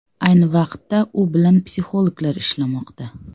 Ayni vaqtda u bilan psixologlar ishlamoqda.